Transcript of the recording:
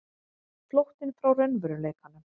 Flóttinn frá raunveruleikanum.